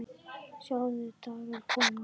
Sjá dagar koma